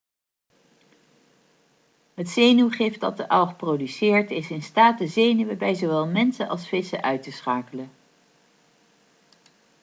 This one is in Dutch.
het zenuwgif dat de alg produceert is in staat de zenuwen bij zowel mensen als vissen uit te uitschakelen